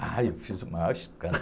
Ai, eu fiz o maior escândalo.